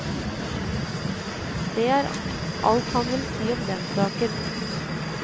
Det er alt han vil si om den saken.